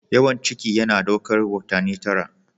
Yawan ciki yana ɗaukar watanni tara.